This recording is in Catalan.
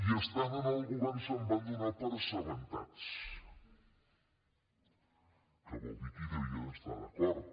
i estant en el govern se’n van donar per assabentats que vol dir que hi devien estar d’acord